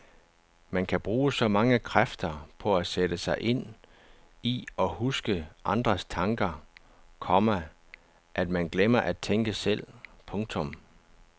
Man kan bruge så mange kræfter på at sætte sig ind i og huske andres tanker, komma at man glemmer at tænke selv. punktum